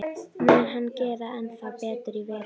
Mun hann gera ennþá betur í vetur?